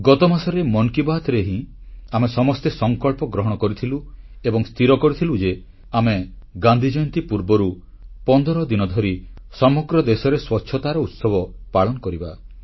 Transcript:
ଗତମାସରେ ମନ୍ କି ବାତ୍ରେ ହିଁ ଆମେ ସମସ୍ତେ ସଂକଳ୍ପ ଗ୍ରହଣ କରିଥିଲୁ ଏବଂ ସ୍ଥିର କରିଥିଲୁ ଯେ ଆମେ ଗାନ୍ଧୀ ଜୟନ୍ତୀ ପୂର୍ବରୁ 15 ଦିନ ଧରି ସମଗ୍ର ଦେଶରେ ସ୍ୱଚ୍ଛତାର ଉତ୍ସବ ପାଳନ କରିବା